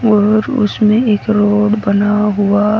और उसमें एक रोड बना हुआ।